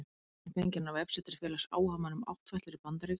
Myndin er fengin á vefsetri félags áhugamanna um áttfætlur í Bandaríkjunum